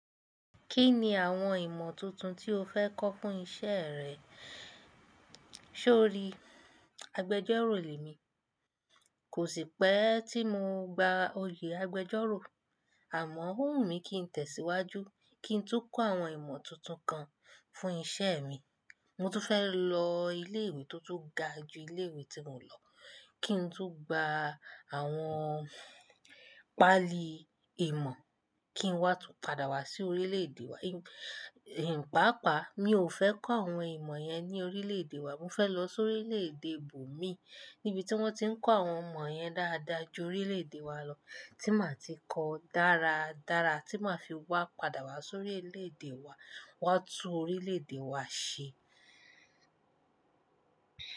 Kí ni àwọn ìmọ̀ tuntun tí o fẹ́ kọ́ fún iṣẹ́ rẹ? So rí, agbẹjọ́rò ni mí. Kò sí pẹ́ tí mo gba oyè agbẹjọ́rò, àmọ́ ó wù mí kí n tẹ̀síwájú, kí n tú kọ́ àwọn ìmọ̀ tuntun kan fún iṣẹ́ mi. Mo tún fẹ́ lọ ilé ìwé tó tún ga ju ilé ìwé tí mo lọ, kí n tú gba àwọn pálí ìmọ̀, kí n wá tún padà wá sí orílẹ̀-èdè wa. Pààpáa, mi ò fẹ́ kọ́ àwọn ìmọ̀ yẹn ní orílẹ̀-èdè wa, mo fẹ́ lọ sórí orílẹ̀-èdè ibo mi níbi tí wọ́n ti ń kọ́ àwọn imọ yẹn dáadáa ju orílẹ̀-èdè wa lọ, tí màá ti kọ dáradára, tí màá fi wá padà wá sóri orílẹ̀-èdè wa, wá tún orílẹ̀-èdè wa ṣe.